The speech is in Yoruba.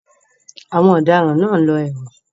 Àwọn ọ̀daràn náà ń lọ ẹ̀wọ̀n.